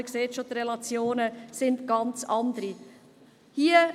Man sieht schon, dass die Relationen ganz anders sind.